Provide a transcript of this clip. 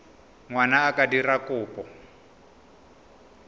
ngwana a ka dira kopo